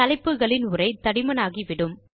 தலைப்புகளின் உரை தடிமனாகிவிடும்